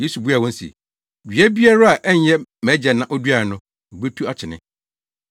Yesu buaa wɔn se, “Dua biara a ɛnyɛ mʼagya na oduae no, wobetu akyene.